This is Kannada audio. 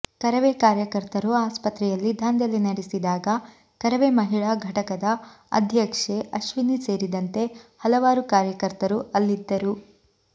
ಕರವೇ ಕಾರ್ಯಕರ್ತರು ಆಸ್ಪತ್ರೆಯಲ್ಲಿ ದಾಂಧಲೆ ನಡೆಸಿದಾಗ ಕರವೇ ಮಹಿಳಾ ಘಟಕದ ಅಧ್ಯಕ್ಷೆ ಅಶ್ವಿನಿ ಸೇರಿದಂತೆ ಹಲವಾರು ಕಾರ್ಯಕರ್ತರು ಅಲ್ಲಿದ್ದರು